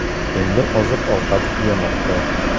Endi oziq-ovqat tugamoqda.